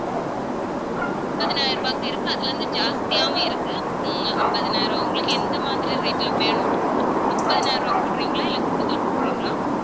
முப்பதினாயிரம் ரூபாய்க்கு இருக்கு, அதுல இருந்து ஜாஸ்தியாவும் இருக்கு. ஹம் அம்பதனாயிரம் உங்களுக்கு எந்த மாதிரி rate ல வேணும் முப்பதனாயிரம் ரூபாய் போடறீங்களா இல்ல கூடுதல் போடறீங்களா